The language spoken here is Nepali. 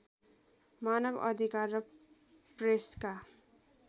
मानव अधिकार र प्रेसका